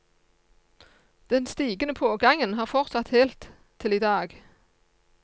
Den stigende pågangen har fortsatt helt til i dag.